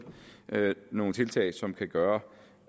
nogle tiltag som kan gøre